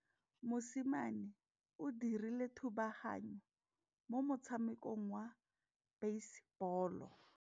Mosimane o dirile thubaganyô mo motshamekong wa basebôlô.